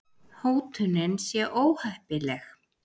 Hótunin sé óheppileg